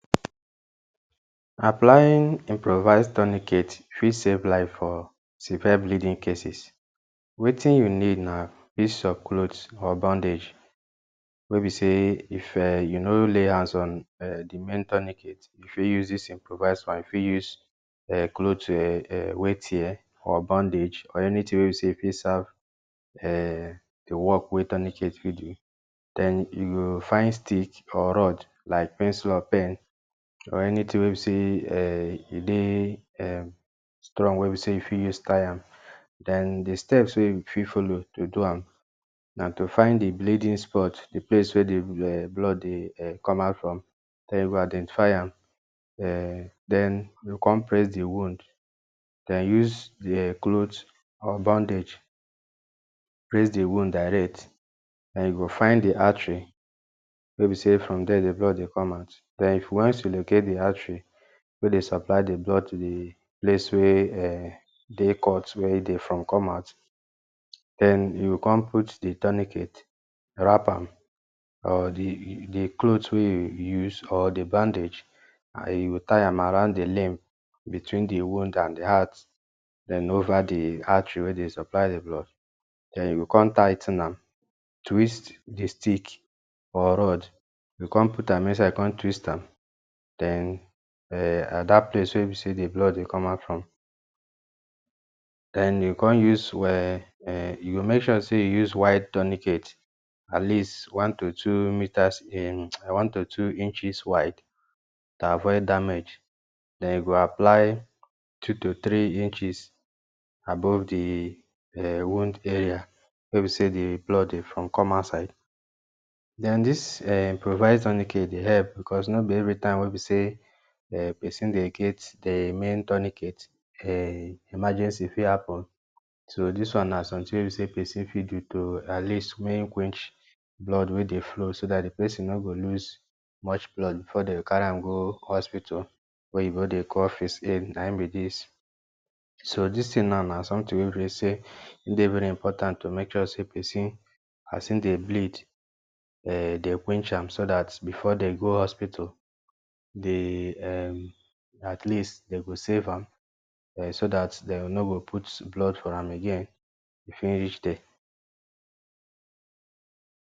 Applying improvise tourniquet fit save life for severe bleeding cases. Wetin you need na piece of cloth or bandage, wey be sey if um you nor lay hands um on the main tourniquet, you fit use dis improvise one, you fit use um cloth um wey tear or bandage or anytin wey be sey fit serve um di work wey tourniquet fit do. Den, you go find stick or rod like pencil or pen, or anytin we be sey, um e dey, um strong, wey be sey you fit use tie am. Den, di steps wey you fit follow to do am, na to find di bleeding spot, di place wey di um blood dey um come out from. Den, you go identify am, um den you go come press di wound, den use di um cloth or bandage press di wound direct, den you go find di artery wey be sey from dier di blood dey come out. Den, once you locate di artery wey dey supply di blood to di place wey um, dey cut, wey e dey from come out, den you go come put di tourniquet, wrap am, or di di cloth wey you use or di bandage, you go tie am around di limb between di wound and di heart, den over di artery wey dey supply di blood, den, you go con tigh ten am, twist di stick or rod, you go con put am inside, con twist am. Den, at dat place wey be sey di blood dey come out from. Den, you go come use um um, you go make sure sey you use wide tourniquet, at least one to two metres in um one to two inches wide, to avoid damage, den you go apply two to three inches above di um wound area wey be sey di blood dey from come outside. Den, dis um improvise tourniquet dey help because nor be every time wey be sey um person dey get di main tourniquet, um emergency fit happen, so dis one na something wey be sey person fit do to at least make quench blood wey dey flow, so dat di person no go lose much blood before dem carry am go hospital, wey oyinbo dey call first aid na im be dis. So, dis tin now na some tin wey be sey e dey very important oh, to make sure sey person as e dey bleed, um den quench am, so dat before dey go hospital, di um, at least dem go save am, um so dat dem no go put blood for am again, if e reach there.